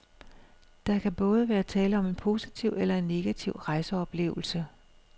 Der kan både være tale om en positiv eller en negativ rejseoplevelse.